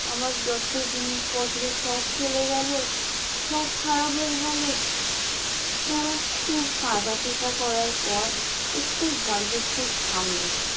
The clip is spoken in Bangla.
আমার যত জিনিসপত্র সব চলে গেল সব খারাপ হয়ে গেল তারা খুব কাঁদা পিটা করার পর একটু ঝড় বৃষ্টি থামলো।